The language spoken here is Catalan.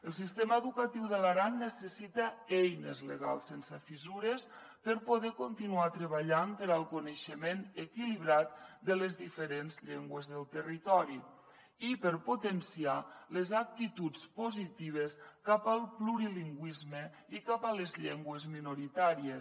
el sistema educatiu de l’aran necessita eines legals sense fissures per poder continuar treballant pel coneixement equilibrat de les diferents llengües del territori i per potenciar les actituds positives cap al plurilingüisme i cap a les llengües minoritàries